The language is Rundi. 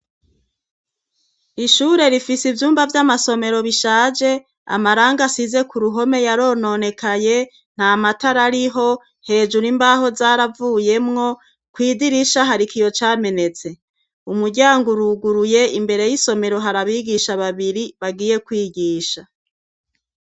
ishure rifise ivyumba vy'amasomero bishaje, amarangi asize ku ruhome yarononekaye, nta matara ariho, hejuru imbaho zaravuyemwo, kw’idirisha hari ikiyo camenetse. umuryango uruguruye, imbere y'isomero hari abigisha babiri bagiye kwigisha.